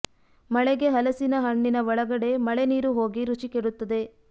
ಮಳೆಗೆ ಹಲಸಿನ ಹಣ್ಣಿನ ಒಳಗಡೆ ಮಳೆ ನೀರು ಹೋಗಿ ರುಚಿ ಕೆಡುತ್ತದೆ